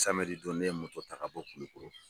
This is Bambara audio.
don ne ye moto taa ka bɔ kulikoro.